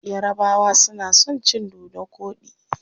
Yarabawa suna son cin dodo koɗi.